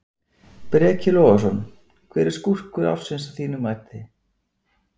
Breki Logason: Hver er skúrkur ársins að þínu mati?